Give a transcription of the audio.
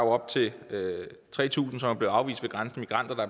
op til tre tusind som er blevet afvist ved grænsen migranter der